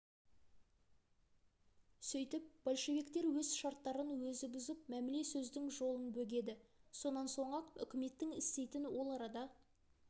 сөйтіп большевиктер өз шарттарын өзі бұзып мәміле сөздің жолын бөгеді сонан соң-ақ үкіметтің істейтін ол арада